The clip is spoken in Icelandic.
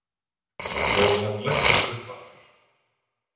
Og hann læddist upp aftur.